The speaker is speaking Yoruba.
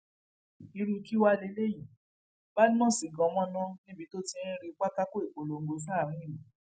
irú kí wàá lélẹyìí badmus gan mọnà níbi tó ti ń rí pátákó ìpolongo sáàrin ìlú